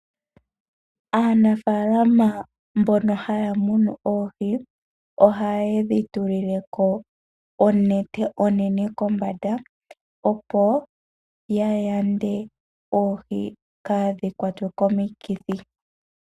Aanafaalama mbono haya munu oohi oha yedhi tulile ko onete onene kombanda, opo ya yande oohi kaadhi kwatwe komikithi.